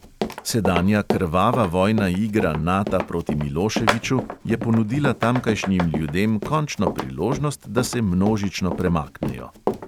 Sedanja krvava vojna igra nata proti miloševiću je ponudila tamkajšnjim ljudem končno priložnost, da se množično premaknejo.